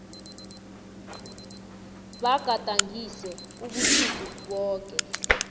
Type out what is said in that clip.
bagadangise ubusuku boke